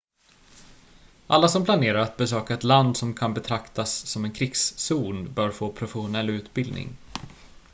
alla som planerar att besöka ett land som kan betraktas som en krigszon bör få professionell utbildning